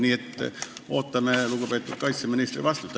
Nii et ootame lugupeetud kaitseministri vastust.